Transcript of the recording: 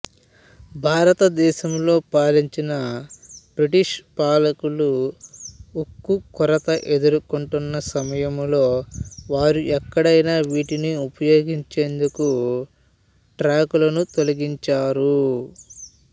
భారతదేశంలో పాలించిన బ్రిటీష్ పాలకులు ఉక్కు కొరత ఎదుర్కొంటున్న సమయంలో వారు ఎక్కడైనా వీటిని ఉపయోగించేందుకు ట్రాకులను తొలగించారు